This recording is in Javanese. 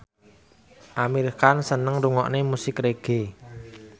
Amir Khan seneng ngrungokne musik reggae